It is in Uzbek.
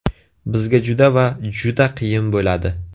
Bizga juda va juda qiyin bo‘ladi.